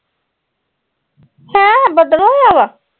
ਹੈਂ ਬੱਦਲ ਹੋਇਆ ਵਾ